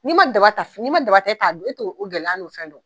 N'i ma daba ta fini n'i ma daba ta k'a don e t'o gɛlɛya n'o fɛn dɔn.